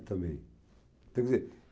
também, quer dizer,